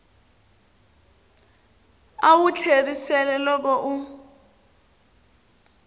a wu tlheriseli loko u